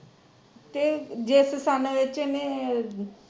ਤੇ ਜਿਸ ਸੱਨ ਚ ਇਹਨੇ